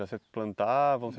Já se plantavam?